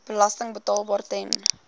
belasting betaalbaar ten